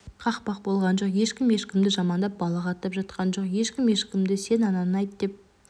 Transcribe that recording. қақпақ болған жоқ ешкім ешкімді жамандап балағаттап жатқан жоқ ешкім ешкімді сен ананы айт деп